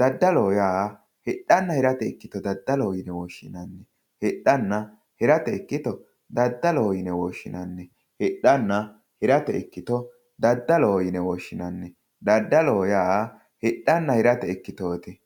dadaloho yaa hidhana hirate dadaloho yine woshinani hidhana hirate ikito dadaloho yine woshinani hidhana hirate ikito dadaloho yine woshinano dadaloho yaa hidhana hirate ikitooti